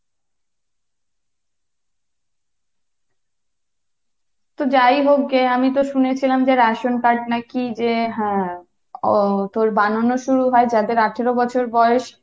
তো যাই হোক যে আমি তো শুনেছিলাম যে ration card নাকি যে হ্যাঁ ওহ বানানো শুরু হয় যাদের আঠারো বছর বয়স।